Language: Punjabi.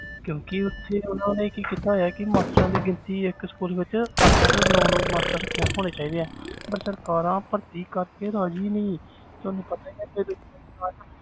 ਕਿਉਂਕਿ ਉੱਥੇ ਉਹਨਾਂ ਨੇ ਕੀ ਕੀਤਾ ਹੋਇਆ ਕਿ masters ਦੀ ਗਿਣਤੀ ਇੱਕ school ਵਿੱਚ ਅੱਠ ਅੱਠ ਨੋਂ ਨੋਂ master ਰੱਖੇ ਹੋਣੇ ਚਾਹੀਦੇ ਹੈ ਪਰ ਸਰਕਾਰਾਂ ਭਰਤੀ ਕਰਕੇ ਰਾਜ਼ੀ ਨੀ ਤੁਹਾਨੂੰ ਪਤਾ ਹੀ ਹੈ